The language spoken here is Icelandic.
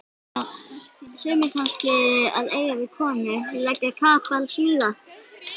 Sumir kannski að eiga við konu, leggja kapal, smíða.